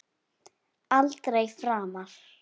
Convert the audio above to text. Aldrei framar.